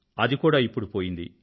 అది కూడా ఇప్పుడు ఆగిపోయింది